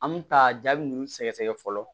An bɛ taa jaabi ninnu sɛgɛ sɛgɛ fɔlɔ